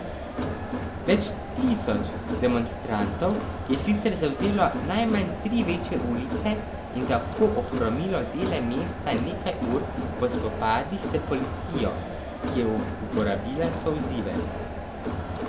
Več tisoč demonstrantov je sicer zavzelo najmanj tri večje ulice in tako ohromilo dele mesta nekaj ur po spopadih s policijo, ki je uporabila solzivec.